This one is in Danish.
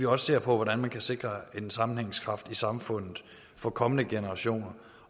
også ser på hvordan man kan sikre en sammenhængskraft i samfundet for kommende generationer